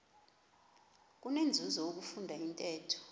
kunenzuzo ukufunda intetho